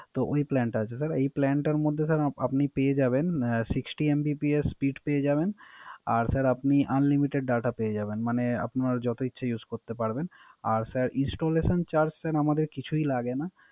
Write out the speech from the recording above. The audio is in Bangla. তো ওই Plan টা আছে স্যার। ওই Plan টার মধ্যে আপনি পেয়ে যাবেন Sixty Mbps speed পেয়ে যাবেন আর স্যার Unlimited data পেয়ে যাবেন মানে আপনার যত ইচ্ছা Use করতে পারবেন। আর স্যার Installation Charge sir আমাদের কিছুই লাগে না